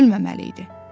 Ölməməli idi.